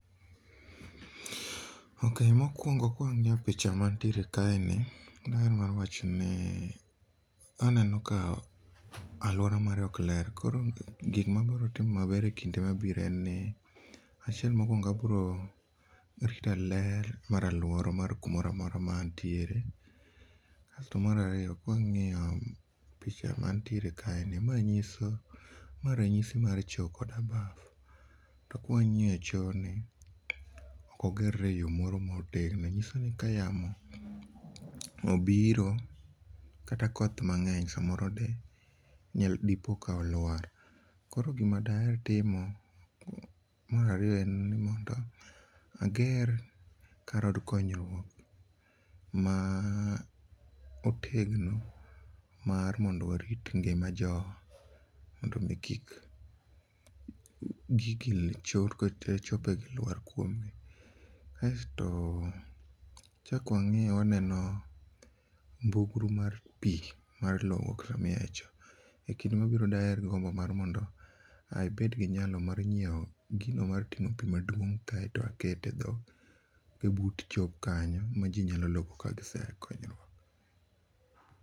Okey, mokuongo ka wang'iyo picha mantiere kae ni aneno ka aluora mare ok ler, koro gimaa biro timo maber e kinde mabiro en ni achiel mokuongo abiro rito ler mar aluora mar kumoro amora mar kuma antiere. Kasto mar ariyo kwang'iyo picha mantiere kae ni ma ranyisi mar choo koda baf, to ka wangiyo choo ni ok oger re e yo ma otegno manyisoni ka yamo obiro kata koth mangeny samoro ni ,dipoka olwar, koro gima daher timo mar ariyo en ni mondo ager kar od konyruok ma otegno mar mondo warit ngima jo mondo mi kik gigi , chope gi luar kuomgi. Kasto wachak wang'iyo waneno mbugru mar pii mar logo sama iae choo, ekinde mabiro daher gombo mar abed gi nyalo mar nyiew gino martingo pii maduong kaito akete e but choo kanyo ma jii nyalo logo ka gisea e konyruok